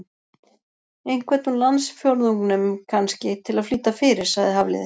Einhvern úr landsfjórðungnum, kannski, til að flýta fyrir- sagði Hafliði.